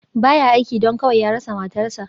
Ba ya aiki, don kawai ya rasa matarsa.